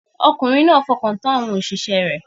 Ọkùnrin náà fọkàn tán àwọn òṣìṣẹ́ rẹ̀